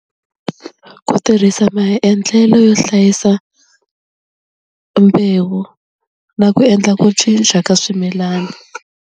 Ku tirhisa maendlelo yo hlayisa mbewu na ku endla ku cinca ka swimilana.